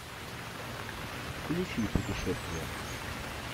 включи путешествие